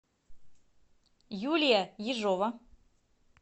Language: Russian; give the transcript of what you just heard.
юлия ежова